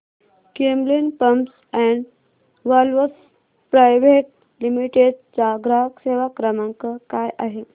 Camlin pumps and valves private limited चा ग्राहक सेवा क्रमांक काय आहे